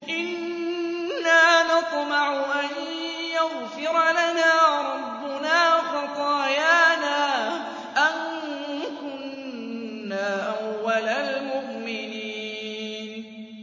إِنَّا نَطْمَعُ أَن يَغْفِرَ لَنَا رَبُّنَا خَطَايَانَا أَن كُنَّا أَوَّلَ الْمُؤْمِنِينَ